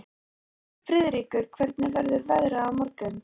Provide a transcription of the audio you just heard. Friðríkur, hvernig verður veðrið á morgun?